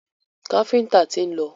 Káfíńńtà tí ń lọ.